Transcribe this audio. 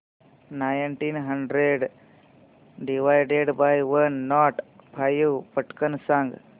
nineteen hundred divided by one nought five पटकन सांग